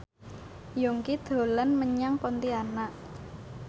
Yongki dolan menyang Pontianak